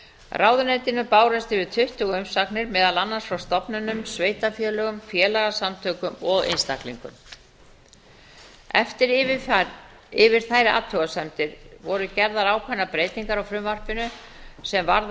ráðuneytinu bárust yfir tuttugu umsagnir meðal annars frá stofnunum sveitarfélögum félagasamtökum og einstaklingum eftir yfirferð yfir þær athugasemdir voru gerðar ákveðnar breytingar á frumvarpinu sem varða